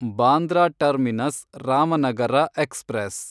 Bandra terminus Ramanagara express